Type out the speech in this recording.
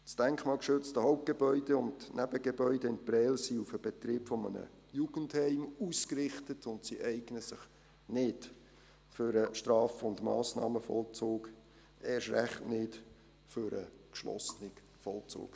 Das denkmalgeschützte Hauptgebäude und das denkmalgeschützte Nebengebäude in Prêles sind auf den Betrieb eines Jugendheims ausgerichtet und eignen sich nicht für den Straf- und Massnahmenvollzug, erst recht nicht für den geschlossenen Vollzug.